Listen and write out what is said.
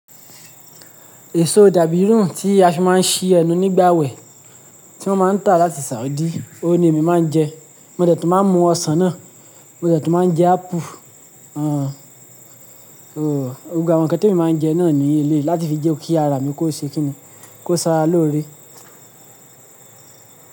Èso dàbírùn tí a fi máa ń ṣi ẹnu nígbà àwẹ̀, tí wọ́n máa ń tà láti Saudi, òun ni èmi máa ń jẹ. Mo dẹ̀ tun máa ń mú ọsàn náà, mo dẹ̀ tun máa ń jẹ ápù. Gbogbo àwọn nkán tí èmi máa ń jẹ náà ní eleyi, láti fi jẹ́ kí ara mi kó ṣe kíni, kó sara lóore.